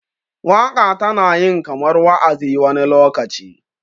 waka tana yin kamar wa'azi wani lokaci